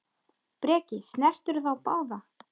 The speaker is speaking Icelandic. Breki: Snertirðu þá báða?